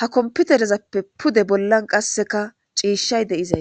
ha komputerezappe pude bollan qasseka ciishshay deizay.